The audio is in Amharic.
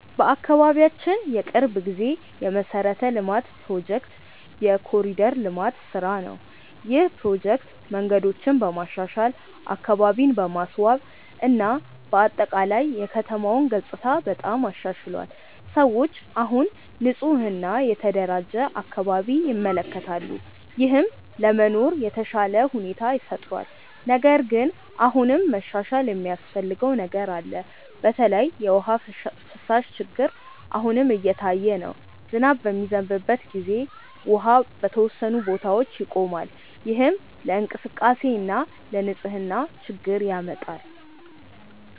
በአካባቢያችን የቅርብ ጊዜ የመሠረተ ልማት ፕሮጀክት የ“ኮሪደር ልማት” ስራ ነው። ይህ ፕሮጀክት መንገዶችን በማሻሻል፣ አካባቢን በማስዋብ እና በአጠቃላይ የከተማውን ገጽታ በጣም አሻሽሏል። ሰዎች አሁን ንፁህ እና የተደራጀ አካባቢ ይመለከታሉ፣ ይህም ለመኖር የተሻለ ሁኔታ ፈጥሯል። ነገር ግን አሁንም መሻሻል የሚያስፈልገው ነገር አለ። በተለይ የውሃ ፍሳሽ ችግር አሁንም እየታየ ነው። ዝናብ በሚዘንብበት ጊዜ ውሃ በተወሰኑ ቦታዎች ይቆማል፣ ይህም ለእንቅስቃሴ እና ለንፅህና ችግር ያመጣል።